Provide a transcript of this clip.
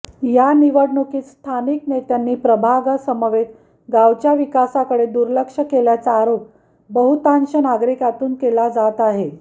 या निवडणुकीत स्थानिक नेत्यांनी प्रभागासमवेत गावच्या विकासाकडे दुर्लक्ष केल्याचा आरोप बहुतांश नागरिकांतून केला जात आहे